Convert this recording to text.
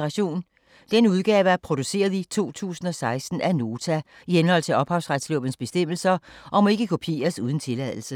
Denne udgave er produceret i 2016 af Nota i henhold til ophavsretslovens bestemmelser, og må ikke kopieres uden tilladelse.